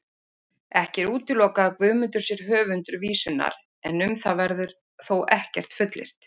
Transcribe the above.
Ekki er útilokað að Guðmundur sé höfundur vísunnar, en um það verður þó ekkert fullyrt.